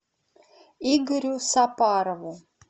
игорю сапарову